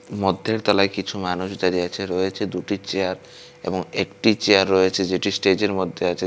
মধ্যের তলায় কিছু মানুষ দাঁড়িয়ে আছে রয়েছে দুটি চেয়ার এবং একটি চেয়ার রয়েছে যেটি স্টেজের মধ্যে আছে।